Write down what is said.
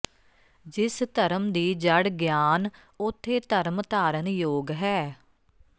ਜਿਸ ਧਰਮ ਦੀ ਜੜ ਗਿਆਨ ਓਥੇ ਧਰਮ ਧਾਰਨ ਯੋਗ ਹੈ